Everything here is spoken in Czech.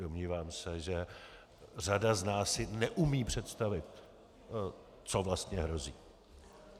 Domnívám se, že řada z nás si neumí představit, co vlastně hrozí.